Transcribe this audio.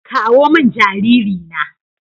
kawo min jariri na